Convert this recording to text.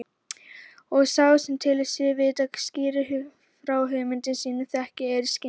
Og sá sem telur sig vita skýrir frá hugmyndum sínum þekking er skynjun.